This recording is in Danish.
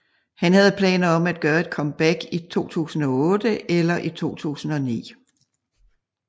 Han havde planer om at gøre et comeback i 2008 eller i 2009